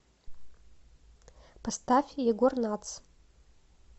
поставь егор натс